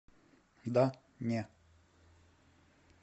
да не